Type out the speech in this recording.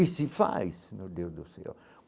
E se faz, meu Deus do céu.